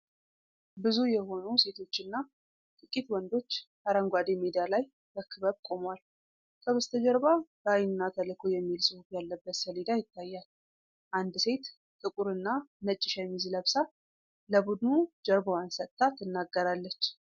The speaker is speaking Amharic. ብዙ የሆኑ ሴቶችና ጥቂት ወንዶች አረንጓዴ ሜዳ ላይ በክበብ ቆመዋል። ከበስተጀርባ "ራዕይ" እና "ተልዕኮ" የሚል ጽሑፍ ያለበት ሰሌዳ ይታያል። አንድ ሴት ጥቁርና ነጭ ሸሚዝ ለብሳ ለቡድኑ ጀርባዋን ሰጥታ ትናገራለች።